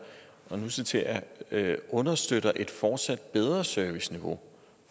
nu citerer jeg understøtter et fortsat bedre serviceniveau